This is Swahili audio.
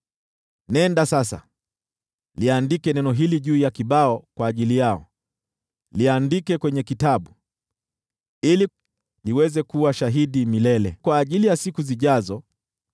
Nenda sasa, liandike neno hili juu ya kibao kwa ajili yao, liandike kwenye kitabu, ili liweze kuwa shahidi milele kwa ajili ya siku zijazo.